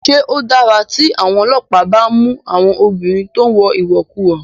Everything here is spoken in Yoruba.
Ṣé ó dára tí àwọn ọlọ́pàá bá ń mú àwọn obìnrin tó ń wọ ìwọ̀kuwọ̀?